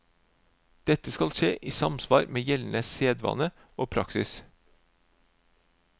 Dette skal skje i samsvar med gjeldende sedvane og praksis.